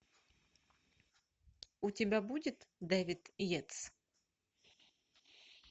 у тебя будет дэвид йейтс